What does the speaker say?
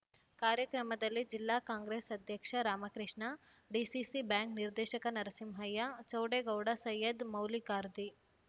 ಕಾರ್ಯಕ್ರಮದಲ್ಲಿ ಜಿಲ್ಲಾ ಕಾಂಗ್ರೆಸ್ ಅಧ್ಯಕ್ಷ ರಾಮಕೃಷ್ಣ ಡಿಸಿಸಿ ಬ್ಯಾಂಕ್ ನಿರ್ದೇಶಕ ನರಸಿಂಹಯ್ಯ ಚೌಡೇಗೌಡ ಸೈಯದ್ ಮೌಲಿಖಾದ್ರಿ